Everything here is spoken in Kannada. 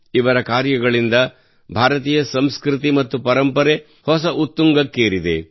ಇವರ ಕಾರ್ಯಗಳಿಂದ ಭಾರತೀಯ ಸಂಸ್ಕೃತಿ ಮತ್ತು ಪರಂಪರೆ ಹೊಸ ಉತ್ತುಂಗಕ್ಕೇರಿದೆ